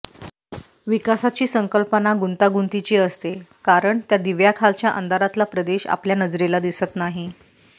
विकासाची संकल्पना गुंतागुंतीची असते कारण त्या दिव्याखालच्या अंधारातला प्रदेश आपल्या नजरेला दिसत नाही